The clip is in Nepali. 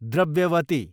द्रव्यवती